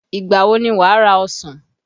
Ìgbà wo ni wà ra ọsàn?